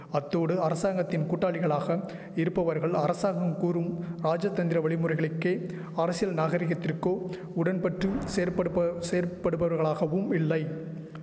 அத்தோடு அரசாங்கத்தின் கூட்டாளிகளாக இருப்பவர்கள் அரசாங்கம் கூறும் ராஜதந்திர வழிமுறைகளுக்கே அரசியல் நாகரிகத்திற்கோ உடன்பட்டு செயற்படுப்ப செயற்படுபவர்களாகவும் இல்லை